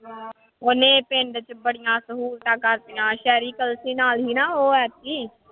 ਉਹਨੇ ਪਿੰਡ ਚ ਬੜੀਆਂ ਸਹੂਲਤਾਂ ਕਰ ਦਿੱਤੀਆਂ ਸ਼ਹਿਰੀ ਨਾਲ ਸੀ ਨਾ ਉਹ ਐਤਕੀ।